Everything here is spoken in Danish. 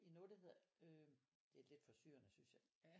I noget der hedder øh det er lidt forstyrrende synes jeg